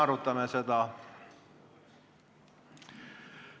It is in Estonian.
Me arutame seda.